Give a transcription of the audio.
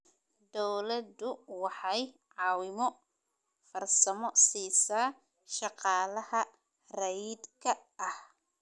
Dawladdu waxay caawimo farsamo siisaa shaqaalaha rayidka ah.